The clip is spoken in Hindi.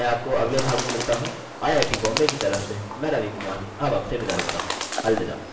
ठीक है मैं आपको अगले भाग में मिलता हूँ आय आय टी बॉम्बे की तरफ से मैं रवि कुमार अब आपसे विदा लेता हूँ अलविदा